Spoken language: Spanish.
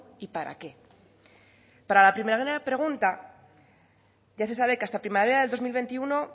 y para qué para la primera pregunta ya se sabe que hasta primavera del dos mil veintiuno